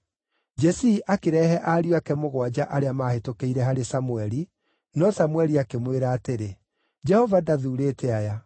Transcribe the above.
Jesii akĩrehe ariũ ake mũgwanja arĩa maahĩtũkĩire harĩ Samũeli, no Samũeli akĩmwĩra atĩrĩ, “Jehova ndathuurĩte aya.”